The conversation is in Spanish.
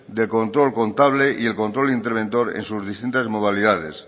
del control contable y el control interventor en sus distintas modalidades